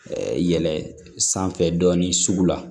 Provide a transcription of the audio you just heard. yɛlɛ sanfɛ dɔɔnin sugu la